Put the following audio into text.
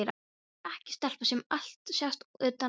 Ég er ekki stelpa sem allt sést utan á.